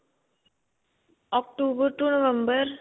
October ਤੋਂ november.